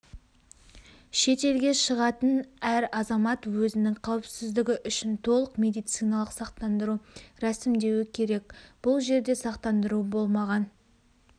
шетелге шығатын әр азамат өзінің қауіпсіздігі үшін толық медициналық сақтандыру рәсімдеуі керек бұл жерде сақтандыру болмаған